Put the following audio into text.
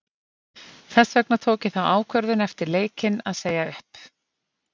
Þess vegna tók ég þá ákvörðun eftir leikinn að segja upp.